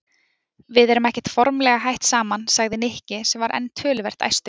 Við erum ekkert formlega hætt saman sagði Nikki sem var enn töluvert æstur.